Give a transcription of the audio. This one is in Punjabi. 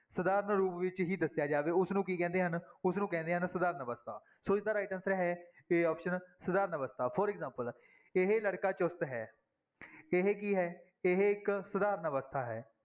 ਸਧਾਰਨ ਰੂਪ ਵਿੱਚ ਹੀ ਦੱਸਿਆ ਜਾਵੇ ਉਸਨੂੰ ਕੀ ਕਹਿੰਦੇ ਹਨ, ਉਸਨੂੰ ਕਹਿੰਦੇ ਹਨ ਸਧਾਰਨ ਅਵਸਥਾ ਸੋ ਇਸਦਾ right answer ਹੈ a option ਸਧਾਰਨ ਅਵਸਥਾ for example ਇਹ ਲੜਕਾ ਚੁਸਤ ਹੈ ਇਹ ਕੀ ਹੈ, ਇਹ ਇੱਕ ਸਧਾਰਨ ਅਵਸਥਾ ਹੈ।